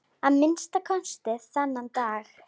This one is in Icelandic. Að minnsta kosti þann dag.